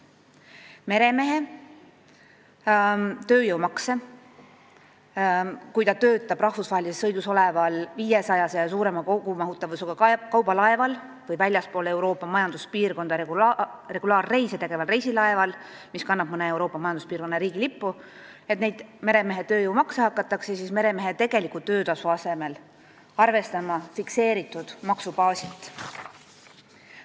Kui meremees töötab rahvusvahelises sõidus oleval 500 ja suurema kogumahutavusega kaubalaeval või väljaspool Euroopa Majanduspiirkonda regulaarreise tegeval reisilaeval, mis kannab mõne Euroopa Majanduspiirkonna riigi lippu, hakatakse tema tööjõumakse arvestama tegeliku töötasu asemel fikseeritud maksubaasilt.